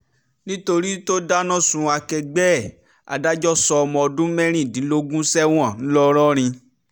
nítorí tó dáná sun akẹgbẹ́ ẹ̀ adájọ́ sọ ọmọ ọdún mẹ́rìndínlógún sẹ́wọ̀n ńlọrọrin